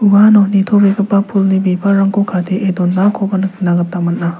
uano nitobegipa pulni bibalrangko kadee donakoba nikna gita man·a.